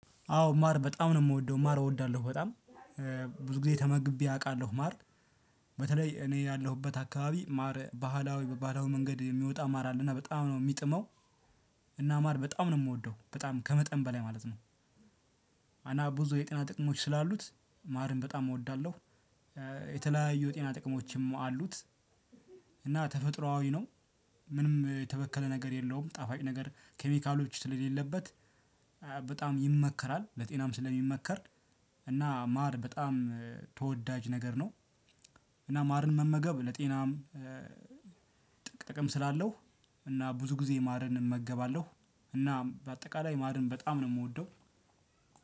አዎ ማር በጣም ነው የምወደው ማር እወዳለሁ በጣም ብዙ ጊዜ ተመግቤ አቃለሁ ማር። በተለይ እኔ ያለሁበት አካባቢ ማር ባህላዊ በባህላዊ መንገድ የሚወጣ ማር አለና በጣም ነው ሚጥመው። እና ማር በጣም ነው እምወደው በጣም ከመጠን በላይ ማለት ነው። እና ብዙ የጤና ጥቅሞች ስላሉት ማርን በጣም እወዳለሁ። የተለያዩ የጤና ጥቅሞችም አሉት። እና ተፈጥሮአዊ ነው። ምንም የተበከለ ነገር የለውም ጣፋጭ ነገር ኬሚካሎች ስለሌለበት። በጣም ይመከራል ለጤናም ስለሚመከር። እና ማር በጣም ተወዳጅ ነገር ነው። እና ማርን መመገብ ለጤናም ጥቅም ስላለው። እና ብዙ ጊዜ ማርን እመገባለሁ። እና በአጠቃላይ ማርን በጣም ነው እምወደው።